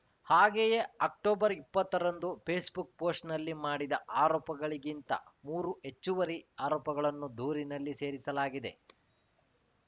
ಹಾಗೆಯೇ ಅಕ್ಟೊಬರ್ಇಪ್ಪತ್ತರಂದು ಪೇಸ್‌ಬುಕ್‌ ಪೋಸ್ಟ್‌ನಲ್ಲಿ ಮಾಡಿದ ಆರೋಪಗಳಿಗಿಂತ ಮೂರು ಹೆಚ್ಚುವರಿ ಆರೋಪಗಳನ್ನು ದೂರಿನಲ್ಲಿ ಸೇರಿಸಲಾಗಿದೆ